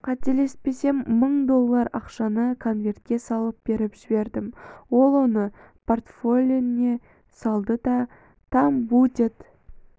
қателеспесем мың доллар ақшаны конверге салып беріп жібердім ол оны портфеліне салды да там будет